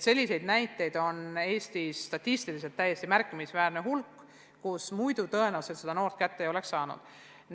Selliseid näiteid on Eestis statistiliselt täiesti märkimisväärne hulk, muidu tõenäoliselt neid noori poleks kätte leitud.